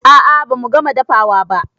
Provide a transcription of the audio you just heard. A'a bamu gama dafawa ba